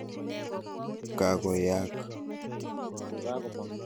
Kako yaak.